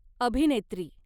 अभिनेत्री